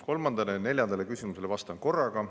Kolmandale ja neljandale küsimusele vastan korraga.